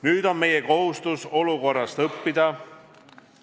Nüüd on meie kohustus olukorrast õppida.